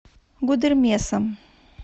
гудермесом